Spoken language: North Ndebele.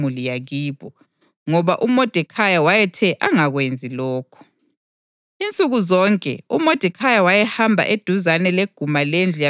U-Esta wayengavezanga ukuthi udabuka ngaphi lembali yemuli yakibo, ngoba uModekhayi wayethe angakwenzi lokho.